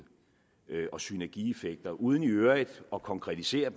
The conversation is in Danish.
og synergieffekter uden i øvrigt at konkretisere